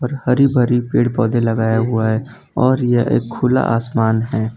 हरी भरी पेड़ पौधे लगाया हुआ है और यह एक खुला आसमान है।